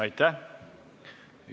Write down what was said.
Aitäh!